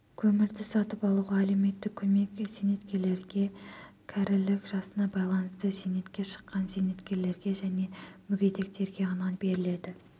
көмірді сатып алуға әлеуметтік көмек зейнеткерлерге кәрілік жасына байланысты зейнетке шыққан зейнеткерлерге және мүгедектерге ғана беріледі